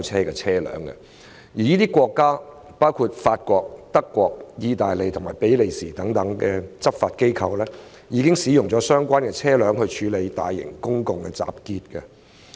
這些國家包括法國、德國、意大利和比利時等，其執法機構曾經使用水炮車處理大型公眾集結。